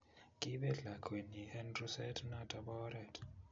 Kiibet lakwenyi eng ruset noto bo oret